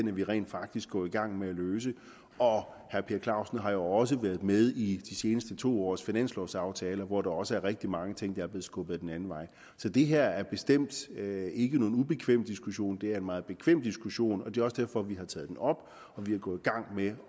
er vi rent faktisk gået i gang med at løse herre per clausen har jo også været med i de seneste to års finanslovaftaler hvor der også er rigtig mange ting der er blevet skubbet den anden vej så det her er bestemt ikke nogen ubekvem diskussion det er en meget bekvem diskussion det er også derfor vi har taget den op og vi er gået i gang med